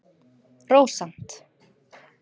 Rósant